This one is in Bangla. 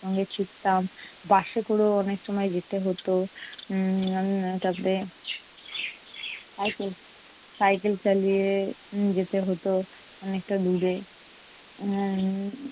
অনেক ছুটতাম। Bus এ করেও অনেক সময় যেতে হতো। উম এর তারপরে cycle cycle চালিয়ে যেতে হতো অনেকটা দূরে। উম